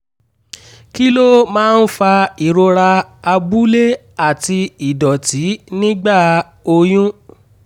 kí ló máa ń fa ìrora abúlé àti ìdọ̀tí nígbà oyún?